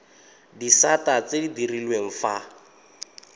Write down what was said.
disata tse di direlwang fa